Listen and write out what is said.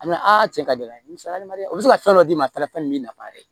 A bɛ cɛ ka gɛlɛn misaliya o bɛ se ka fɛn dɔ d'i ma fɛn min b'i nafa yɛrɛ